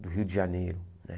Do Rio de Janeiro, né?